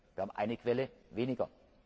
Wir haben eine Quelle weniger.